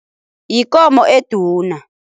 Yikomo eduna.